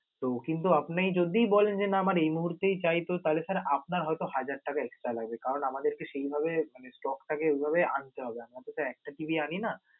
তো কিন্তু আপনেই যদি বলেন যে, না আমার এই মুহূর্তেই চাই তো তাহলে sir আপনার হয়ত হাজার টাকা extra লাগবে. কারণ আমাদেরকে সেই ভাবে মানে, stock থাকে ওই ভাবে আনতে হবে, আমাদের তো একটা TV আনি না.